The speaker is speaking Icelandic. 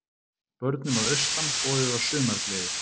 Börnum að austan boðið á sumargleði